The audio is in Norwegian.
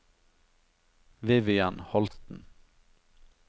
Vivian Holten